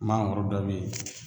Mangoro dɔ be ye